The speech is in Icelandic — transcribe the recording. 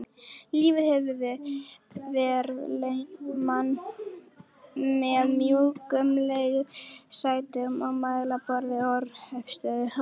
Lífið hefur verðlaunað mann með mjúkum leðursætum og mælaborði orrustuþotu.